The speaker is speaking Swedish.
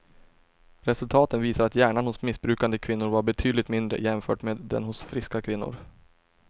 Resultaten visar att hjärnan hos missbrukande kvinnor var betydligt mindre jämfört med den hos friska kvinnor.